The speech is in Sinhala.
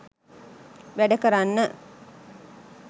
වැඩ කරන්න.